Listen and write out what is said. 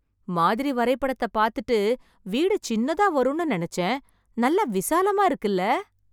மாதிரி வரைபடத்த பாத்துட்டு வீடு சின்னதா வரும்னு நினச்சேன், நல்ல விசாலமா இருக்குல்ல.